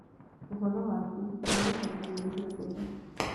uhoro wakũ ndagũthaitha nyĩhĩa utherĩ